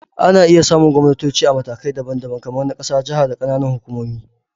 Ana iya samun gwamnatoci a matakai daban-daban, kamar na ƙasa, jaha, da ƙananan hukumomi